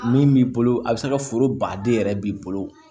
Min b'i bolo a bɛ se ka foro baden yɛrɛ b'i bolo